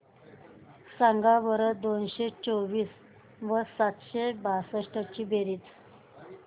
सांगा बरं दोनशे चोवीस व सातशे बासष्ट ची बेरीज